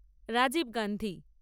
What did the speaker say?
Rajib Gandhi